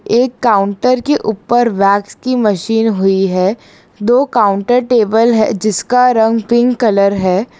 एक काउंटर के ऊपर वैक्स की मशीन हुई है दो काउंटर टेबल है जिसका रंग पिंक कलर है।